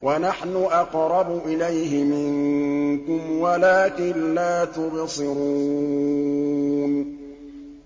وَنَحْنُ أَقْرَبُ إِلَيْهِ مِنكُمْ وَلَٰكِن لَّا تُبْصِرُونَ